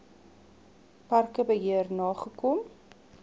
parke beheer nagekom